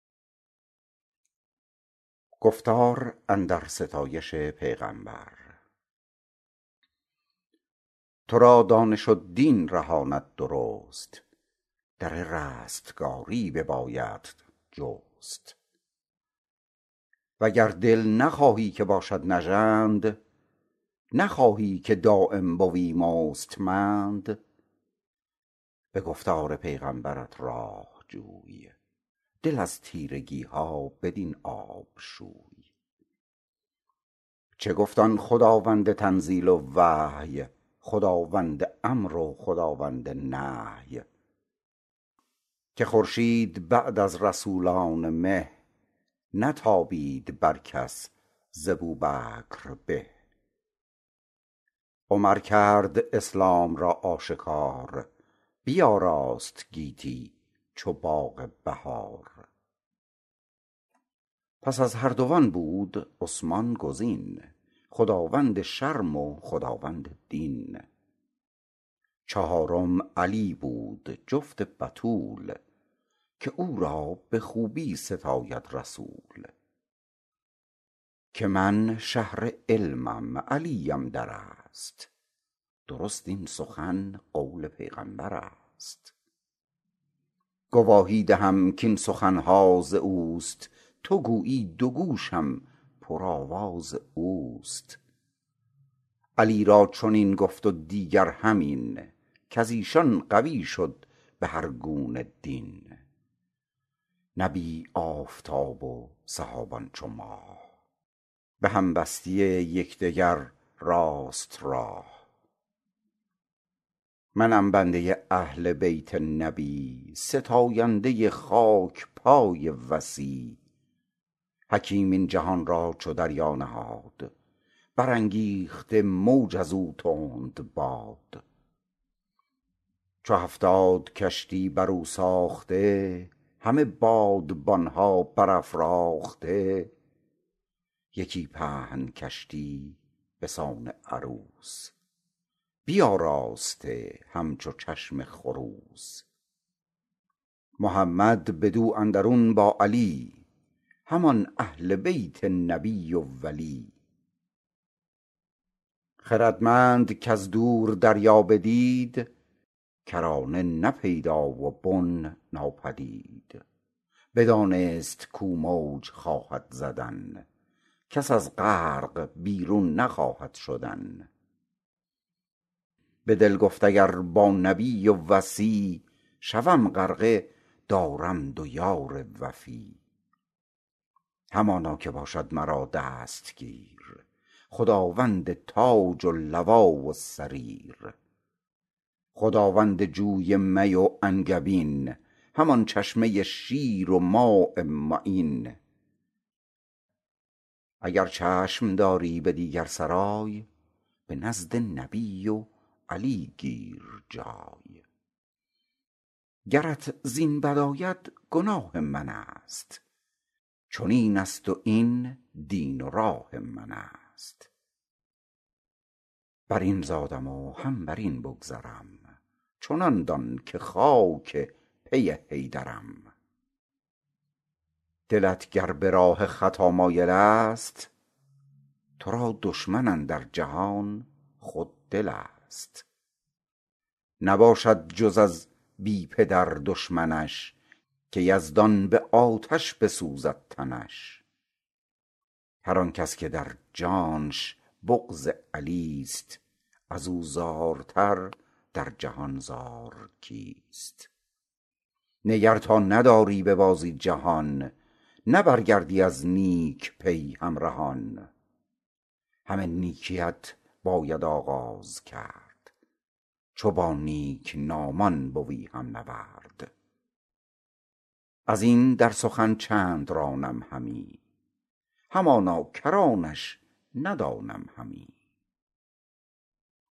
تو را دانش و دین رهاند درست در رستگاری ببایدت جست وگر دل نخواهی که باشد نژند نخواهی که دایم بوی مستمند به گفتار پیغمبرت راه جوی دل از تیرگی ها بدین آب شوی چه گفت آن خداوند تنزیل و وحی خداوند امر و خداوند نهی که خورشید بعد از رسولان مه نتابید بر کس ز بوبکر به عمر کرد اسلام را آشکار بیاراست گیتی چو باغ بهار پس از هر دو آن بود عثمان گزین خداوند شرم و خداوند دین چهارم علی بود جفت بتول که او را به خوبی ستاید رسول که من شهر علمم علیم در است درست این سخن قول پیغمبر است گواهی دهم کاین سخن ها از اوست تو گویی دو گوشم پر آواز اوست علی را چنین گفت و دیگر همین کز ایشان قوی شد به هر گونه دین نبی آفتاب و صحابان چو ماه به هم بسته یک دگر راست راه منم بنده اهل بیت نبی ستاینده خاک پای وصی حکیم این جهان را چو دریا نهاد برانگیخته موج از او تندباد چو هفتاد کشتی بر او ساخته همه بادبان ها بر افراخته یکی پهن کشتی به سان عروس بیاراسته همچو چشم خروس محمد بدو اندرون با علی همان اهل بیت نبی و ولی خردمند کز دور دریا بدید کرانه نه پیدا و بن ناپدید بدانست کو موج خواهد زدن کس از غرق بیرون نخواهد شدن به دل گفت اگر با نبی و وصی شوم غرقه دارم دو یار وفی همانا که باشد مرا دستگیر خداوند تاج و لوا و سریر خداوند جوی می و انگبین همان چشمه شیر و ماء معین اگر چشم داری به دیگر سرای به نزد نبی و علی گیر جای گرت زین بد آید گناه من است چنین است و این دین و راه من است بر این زادم و هم بر این بگذرم چنان دان که خاک پی حیدرم دلت گر به راه خطا مایل است تو را دشمن اندر جهان خود دل است نباشد جز از بی پدر دشمنش که یزدان به آتش بسوزد تنش هر آنکس که در جانش بغض علی ست از او زارتر در جهان زار کیست نگر تا نداری به بازی جهان نه برگردی از نیک پی همرهان همه نیکی ات باید آغاز کرد چو با نیک نامان بوی هم نورد از این در سخن چند رانم همی همانا کرانش ندانم همی